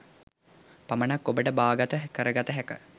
පමණක් ඔබට බාගත කරගත හැක.